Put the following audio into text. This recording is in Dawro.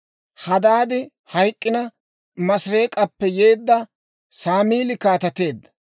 Hadaadi hayk'k'ina, Maasireek'appe yeedda Saamili kaateteedda.